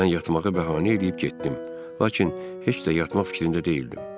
Mən yatmağı bəhanə eləyib getdim, lakin heç də yatmaq fikrində deyildim.